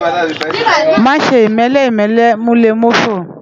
Má ṣè imèlè imèlè mú lè mófó